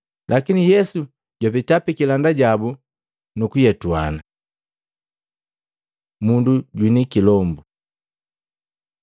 lakini Yesu jwapeta pikilanda jabu nukuyetuana. Mundu jwini kilombu Maluko 1:21-28